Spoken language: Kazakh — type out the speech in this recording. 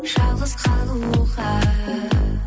жалғыз қалуға